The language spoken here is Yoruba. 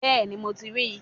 Bẹ́ẹ̀ni, mo ti ríi